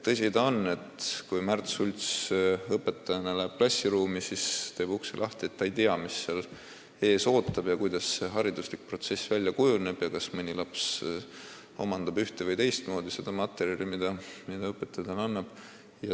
Tõsi ta on, et kui Märt Sults õpetajana läheb klassiruumi ja teeb ukse lahti, siis ta ei tea, mis seal ees ootab, milliseks see hariduslik protsess kujuneb ja kuidas, kas ühte- või teistmoodi, lapsed omandavad materjali, mida õpetaja neile annab.